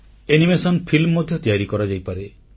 animation film ମଧ୍ୟ ତିଆରି କରାଯାଇପାରେ